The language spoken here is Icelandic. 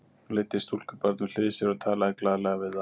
Hún leiddi stúlkubarn við hlið sér og talaði glaðlega við það.